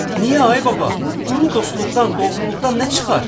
Niyə ay baba, quru dostluqdan, doğruluqdan nə çıxar?